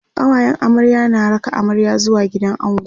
kawayen amarya na raka amarya zuwa gidan ango